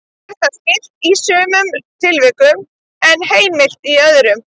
Er það skylt í sumum tilvikum en heimilt í öðrum.